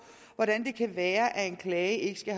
hvordan det kan være at en klage ikke skal